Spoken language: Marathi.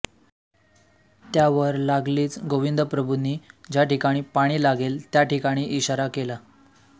त्यावर लागलीच गोविंदप्रभुनी ज्या ठिकाणी पाणी लागेल त्या ठिकानी इशारा केला